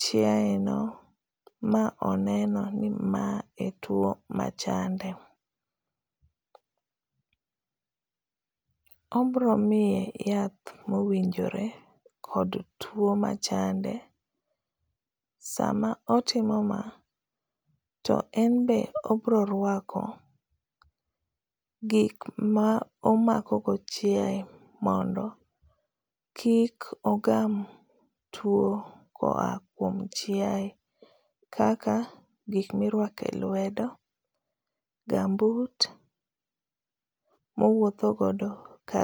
chiae no ma oneno ni ma e two machande. Obiro miye yath ma owinjo kod two machande. Sama otimo ma, to enbe obiro rwako gik ma omako go chiae, mondo kik ogam two koa kuom chiae. Kaka gik ma irwako e lwedo, gumboot ma owuotho godo ka.